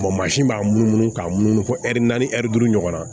mansin b'a munumunu k'a munumunu fɔ naani duuru ɲɔgɔn na